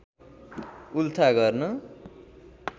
उल्था गर्न